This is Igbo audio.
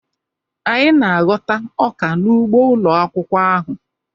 Anyị na-aghọta ọka n'ugbo ụlọ akwụkwọ ahụ.